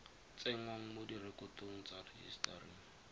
tsengwang mo direkotong mo rejisetareng